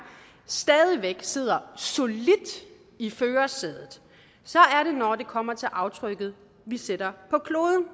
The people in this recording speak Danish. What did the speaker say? stadig væk sidder solidt i førersædet er når det kommer til aftrykket vi sætter på kloden